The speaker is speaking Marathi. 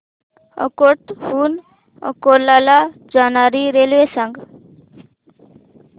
अकोट हून अकोला ला जाणारी रेल्वे सांग